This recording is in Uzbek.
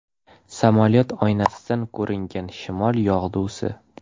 Samolyot oynasidan ko‘ringan shimol yog‘dusi .